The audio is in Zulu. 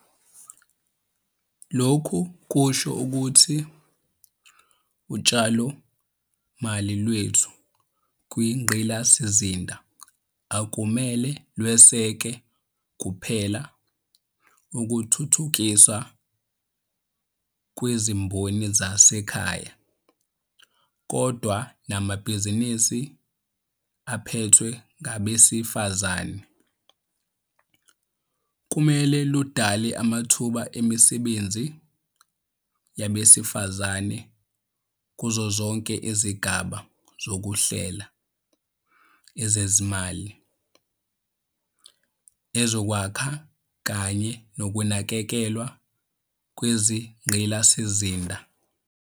Lokhu kusho ukuthi utshalomali lwethu kwingqalasizinda akumele lweseke kuphela ukuthuthukiswa kwezimboni zasekhaya, kodwa namabhizinisi aphethwe ngabesifazane. Kumele ludale amathuba emisebenzi yabesifazane kuzozonke izigaba zoku hlela, ezezimali, ezokwakha kanye nokunakekelwa kwezingqalasizinda.